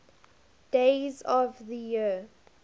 days of the year